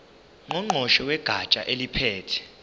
ngqongqoshe wegatsha eliphethe